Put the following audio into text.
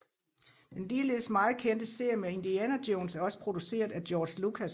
Den ligeledes meget kendte serie med Indiana Jones er også produceret af George Lucas